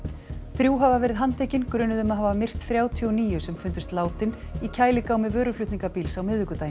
þrjú hafa verið handtekin grunuð um að hafa myrt þrjátíu og níu sem fundust látin í vöruflutningabíls á miðvikudaginn